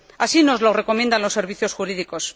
Así nos lo recomiendan los servicios jurídicos.